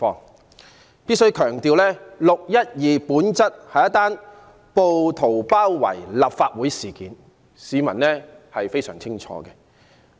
我必須強調，"六一二"事件本質是一宗暴徒包圍立法會大樓的事件，這一點市民非常清楚。